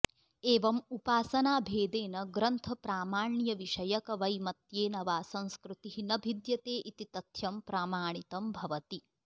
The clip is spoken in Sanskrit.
एवम् उपासनाभेदेन ग्रन्थप्रामाण्यविषयकवैमत्येन वा संस्कृतिः न भिद्यते इति तथ्यं प्रमाणितं भवति